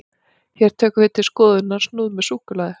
hér tökum við til skoðunar snúð með súkkulaði